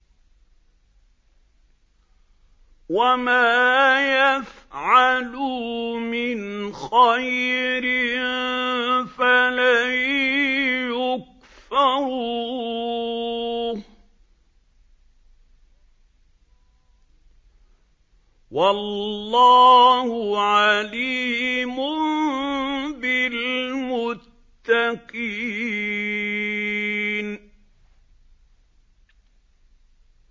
وَمَا يَفْعَلُوا مِنْ خَيْرٍ فَلَن يُكْفَرُوهُ ۗ وَاللَّهُ عَلِيمٌ بِالْمُتَّقِينَ